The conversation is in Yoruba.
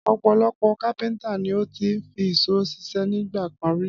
Ọ̀pọ̀lọpọ̀ kápẹ́ńtà ni ó ti fi ìṣó ṣiṣẹ́ nígbà kan rí.